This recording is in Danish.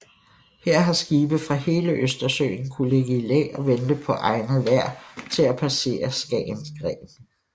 Her har skibe fra hele Østersøen kunnet ligge i læ og vente på egnet vejr til at passere Skagens Gren